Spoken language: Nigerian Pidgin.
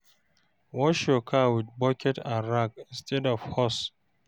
wash yur car wit bucket and rag instead of hose